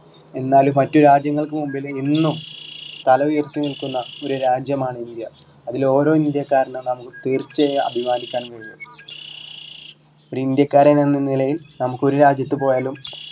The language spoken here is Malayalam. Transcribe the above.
എന്നാൽ മറ്റു രാജ്യങ്ങൾക്ക് മുമ്പില് ഇന്നും തല ഉയർത്തി നിൽക്കുന്ന ഒരു രാജ്യം ആണ് ഇന്ത്യ അതിലോരോ ഇന്ത്യക്കാരനും നമ്മക്ക് തീർച്ച ആയും അഭിമാനിക്കാൻ കഴിയും ഒരു ഇന്ത്യക്കാരൻ എന്ന നിലയിൽ നമുക്ക് ഒരു രാജ്യത്ത് പോയാലും